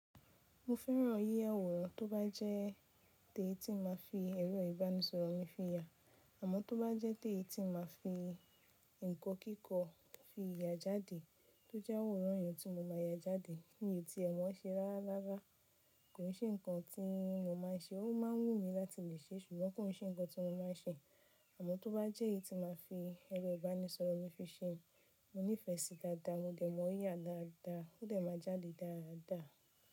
Mo fẹ́ràn yiyaworan tó bá jẹ́ tì tí màá fi ẹ̀rọ ìbánisọ̀rọ̀ mi fi ya, àmọ́ tó bá jẹ́ tì tí màá fi ǹkan kíkọ fi ya jáde, tó jẹ́ aworan yẹn tí mo máa ya jáde, mi o tí ẹ̀ mọ ṣe rárára, kò ní ṣe ǹkan tí mo má n ṣe, ó má ń wù mí láti lè ṣe, ṣùgbọ́n kò ní ṣe ǹkan tí mo má n ṣe. Àmọ́ tó bá jẹ́ tì tí màá fi ẹ̀rọ ìbánisọ̀rọ̀ mi fi ṣe, mo nífẹ̀ẹ́ sì í dáadáa, mo dẹ̀ mọ̀ ọ́ yá dáadáa, ó dẹ̀ má jáde dáadáa.